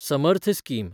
Samarth scheme